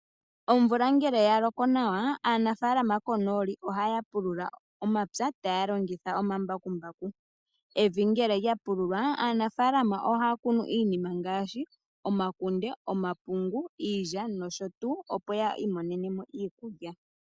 Omvula ngele yaloko nawa aanafaalama konooli ohaya pulula omapya gawo taya longitha omambakumbaku. Evi ngele lyapululwa aanafaalama ohaya kunu iinima ngaashi omapungu, omakunde iilya noshotuu opo yiimonenemo iikulya.